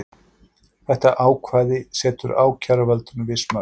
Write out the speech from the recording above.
Þetta ákvæði setur ákæruvaldinu viss mörk